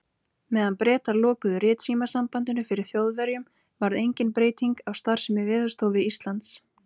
Meðan Bretar lokuðu ritsímasambandinu fyrir Þjóðverjum, varð engin breyting á starfsemi Veðurstofu Íslands.